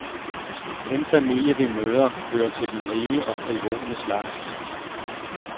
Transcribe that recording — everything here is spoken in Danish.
Den familie, vi møder, hører til den rige og frivole slags.